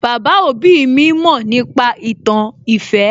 Baba òbí mi mọ̀ nípa ìtàn ìfẹ́